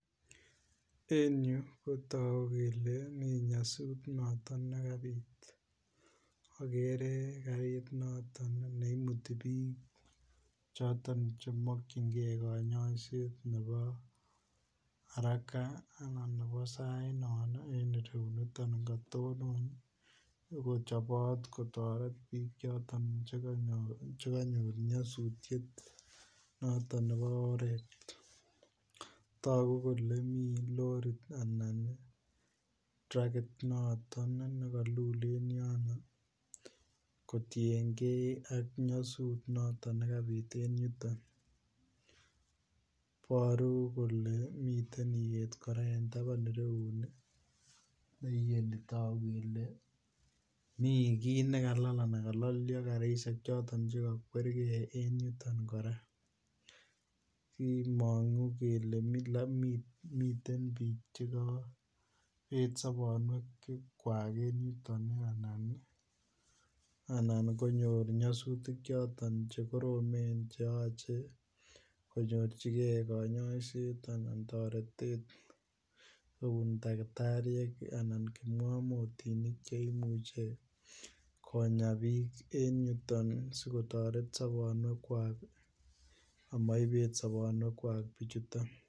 En yu kotogu kele mi nyosutiet noton ne kabit agere karit noton ne imuti bik choton Che mokyingei kanyaiset nebo haraka anan nebo sainon noton katonon ako chobot kotoret bik choton Che kanyor nyasutiet noton nebo oret togu kele miten rorit anan trackit noton nekalul en yono kotienge ak nyasut nekabit en yuton Iboru kole miten iyet kora en tabanyu ko togu kele mi kii nekalal anan karisiek Che kokwerge en yuton kora kimongu kele miten bik Che kabet sobonwekab en yuton anan kanyor nyasutik choton Che koromen Che yoche konyorchigei kanyaiset noton anan toretet anan kipngamotinik asi konyorchigei toretet amoibet sobonwekab bichuto